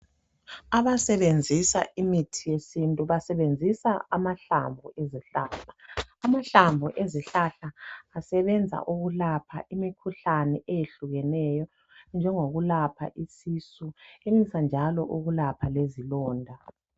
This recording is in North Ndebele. Abasebenzisa imithi yesintu basebenzisa amahlamvu ezihlahla. Amahlamvu ezihlahla asebenza ukulapha imikhuhlane eyehlukeneyo enjengokulapha isisu, enelisa njalo ukulapha lezilonda.